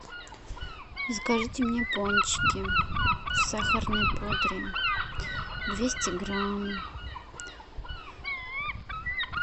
закажите мне пончики в сахарной пудре двести грамм